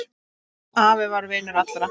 Afi var vinur allra.